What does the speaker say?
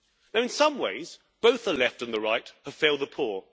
Though, in some ways, both the Left and the Right have failed the poor.